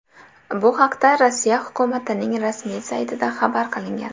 Bu haqda Rossiya hukumatining rasmiy saytida xabar qilingan .